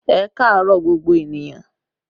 Ẹ kaaro gbogbo ènìyàn